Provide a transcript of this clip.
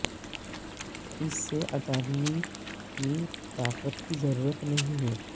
اس سے اٹارنی کی طاقت کی ضرورت نہیں ہے